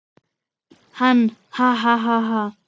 Hann: Ha ha ha.